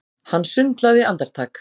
Hann sundlaði andartak.